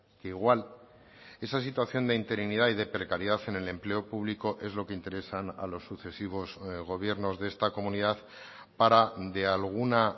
que igual esa situación de interinidad y de precariedad en el empleo público es lo que interesan a los sucesivos gobiernos de esta comunidad para de alguna